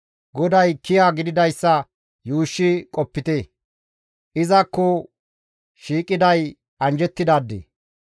GODAY kiya gididayssa yuushshi qopite; izakko shiiqiday anjjettidaade.